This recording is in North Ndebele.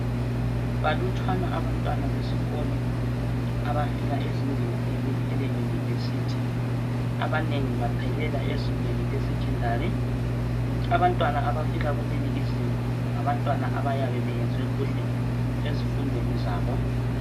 Balutshwana abantwana besikolo abafika ezingeni leli eleyunivesithi. Abanengi baphelela esekhendari. Abantwana abafika kulelizinga ngabantwana abayabe benze kuhle ezifundweni zabo.